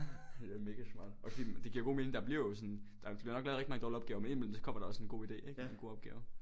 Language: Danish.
Ja mega smart okay men det giver jo god mening der bliver jo sådan der bliver nok lavet rigtig mange dårlige opgaver men ind i mellem så kommer der også en idé ikke god opgave